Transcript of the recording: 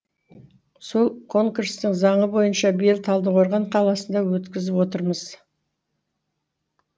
сол конкурстың заңы бойынша биыл талдықорған қаласында өткізіп отырмыз